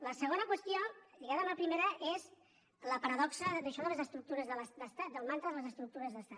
la segona qüestió lligada amb la primera és la paradoxa d’això de les estructures d’estat del mantra de les estructures d’estat